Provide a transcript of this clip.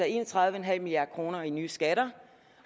en og tredive milliard kroner i nye skatter